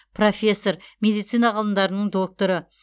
профессор медицина ғылымдарының докторы